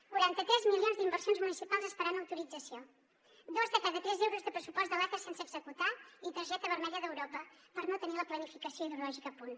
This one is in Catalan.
quaranta tres milions d’inversions municipals esperant autorització dos de cada tres euros de pressupost de l’aca sense executar i targeta vermella d’europa per no tenir la planificació hidrològica a punt